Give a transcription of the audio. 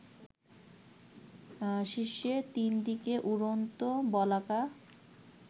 শীর্ষে ৩ দিকে উড়ন্ত বলাকা